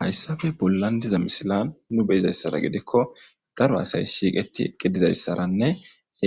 Hayssabe bollan diza misilan nu beyizayssara gedikko darba asay shiiqeti eqqe dizayssaranne